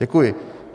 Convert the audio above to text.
Děkuji.